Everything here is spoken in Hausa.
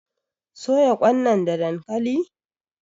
soya Kwan nan da dankali?